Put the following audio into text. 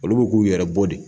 Olu bɛ k'u yɛrɛ bɔ de.